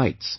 He writes,